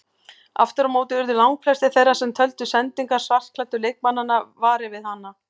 Aftur á móti urðu langflestir þeirra sem töldu sendingar svartklæddu leikmannanna varir við hana.